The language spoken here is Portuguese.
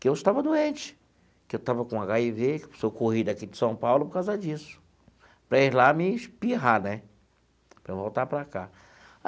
que eu estava doente, que eu estava com agá i vê, que eu corri daqui de São Paulo por causa disso, para ir lá me espirrar né, para eu voltar para cá.